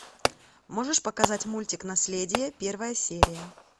можешь показать мультик наследие первая серия